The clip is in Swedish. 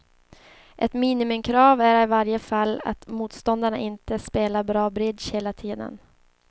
Ett minimikrav är i varje fall att motståndarna inte spelar bra bridge hela tiden.